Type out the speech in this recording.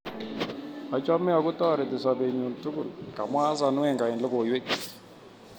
Achome ako toreti sobet nyun tugul' komwa Arsene Wenger eng logoiwek chik.